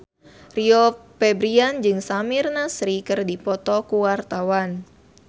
Rio Febrian jeung Samir Nasri keur dipoto ku wartawan